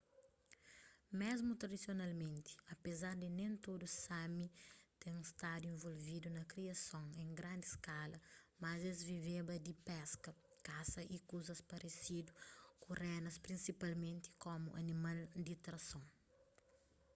mesmu tradisionalmenti apezar di nen tudu sámi ten stadu involvidu na kriason en grandi skala mas es viveba di peska kasa y kuzas paresidu ku renas prinsipalmenti komu animal di trason